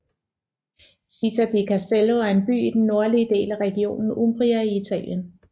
Città di Castello er en by i den nordlige del af regionen Umbria i Italien